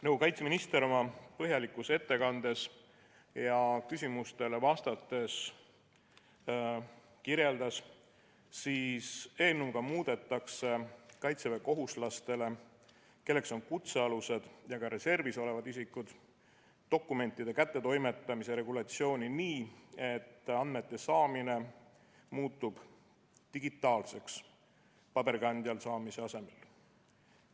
Nagu kaitseminister oma põhjalikus ettekandes ja küsimustele vastates kirjeldas, siis eelnõuga muudetakse kaitseväekohuslastele, kelleks on kutsealused ja reservis olevad isikud, dokumentide kättetoimetamise regulatsiooni nii, et andmete saamine muutub digitaalseks, paberkandjal saamise asemel.